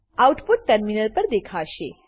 output terminal પર દેખાશે